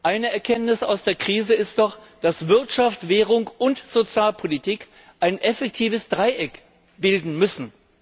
Eine Erkenntnis aus der Krise ist doch, dass Wirtschaft, Währung und Sozialpolitik ein effektives Dreieck bilden müssen.